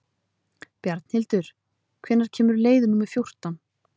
Bjarnhildur, hvenær kemur leið númer fjórtán?